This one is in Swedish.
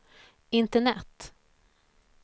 internet